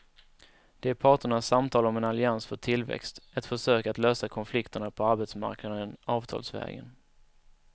Det är parternas samtal om en allians för tillväxt, ett försök att lösa konflikterna på arbetsmarknaden avtalsvägen.